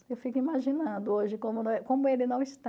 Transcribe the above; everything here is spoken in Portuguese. Eu fico imaginando hoje como como ele não está.